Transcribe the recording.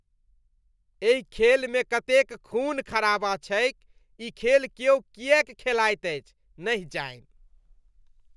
एहि खेलमे कतेक खून खराबा छैक। ई खेल क्यौ किएक खेलाइत अछि, नहि जानि?